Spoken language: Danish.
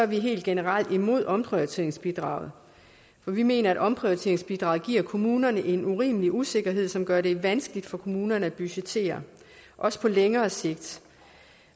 vi helt generelt imod omprioriteringsbidraget for vi mener at omprioriteringsbidraget giver kommunerne en urimelig usikkerhed som gør det vanskeligt for kommunerne at budgettere også på længere sigt